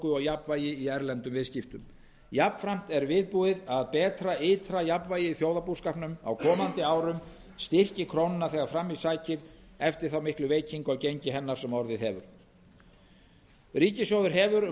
og jafnvægi í erlendum viðskiptum jafnframt er viðbúið að betra ytra jafnvægi í þjóðarbúskapnum á komandi árum styrki krónuna þegar fram í sækir eftir þá miklu veikingu á gengi hennar sem orðið hefur ríkissjóður hafði um